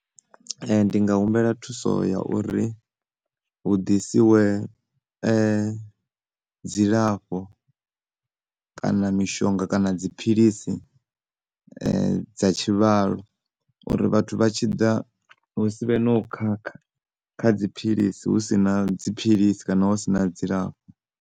Ndi nga humbela thuso ya uri hu ḓisiwe dzilafho kana mishonga kana dziphilisi dza tshivhalo uri vhathu vha tshi ḓa hu si vhe no khakha kha dziphilisi hu si na dziphilisi kana hu si na dzilafho.